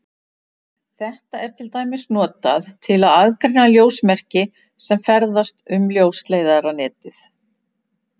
Þetta er til dæmis notað til að aðgreina ljósmerki sem ferðast um ljósleiðaranetið.